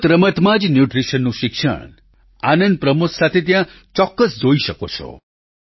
રમતરમતમાં જ ન્યૂટ્રિશનનું શિક્ષણ આનંદપ્રમોદ સાથે ત્યાં ચોક્કસ જોઈ શકો છો